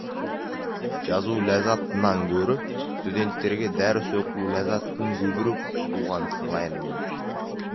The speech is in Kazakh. жазу ләззатынан гөрі студенттерге дәріс оқу ләззатын көбірек қуған сыңайлымын